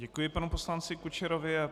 Děkuji panu poslanci Kučerovi.